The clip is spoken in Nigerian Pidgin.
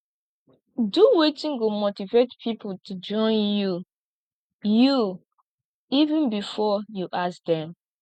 do wetin go motivate pipo to join you you even before you ask dem